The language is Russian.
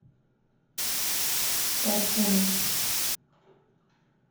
парсуна